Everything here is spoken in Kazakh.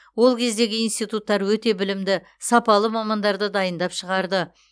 ол кездегі институттар өте білімді сапалы мамандарды дайындап шығарды